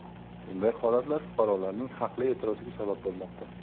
Bunday holatlar fuqarolarning haqli e’tiroziga sabab bo‘lmoqda.